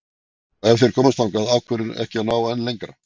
Og ef þeir komast þangað, af hverju ekki að ná enn lengra?